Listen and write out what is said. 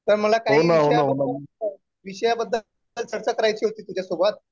तर मला काही विषयावर चर्चा करायची होती तुझ्यासोबत.